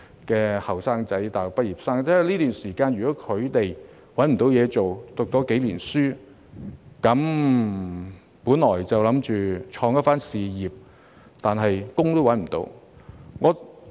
在這段期間，如果他們找不到工作......唸書數年，本想創一番事業，卻找不到工作。